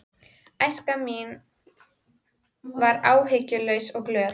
Æska mín var áhyggjulaus og glöð.